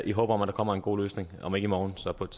i håb om at der kommer en god løsning om ikke i morgen så på et